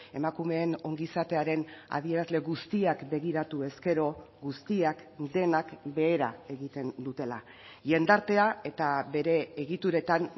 emakumeen ongizatearen adierazle guztiak begiratu ezkero guztiak denak behera egiten dutela jendartea eta bere egituretan